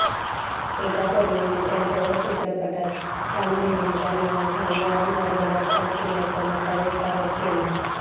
एका तरुणीने त्यांच्यावर चित्रपटांत काम देण्याच्या नावाखाली वारंवार बलात्कार केल्याचा धक्कादायक आरोप केला